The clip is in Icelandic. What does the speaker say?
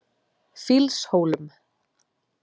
Fýlshólum